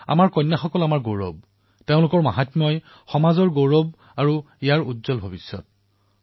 আমাৰ কন্যাসকল আমাৰ গৌৰৱ আৰু এই কন্যাসকলৰ মহত্বৰ বাবে আমাৰ সমাজে এক শক্তিশালী পৰিচয় লাভ কৰিছে আৰু উজ্বল ভৱিষ্যত লাভ কৰিছে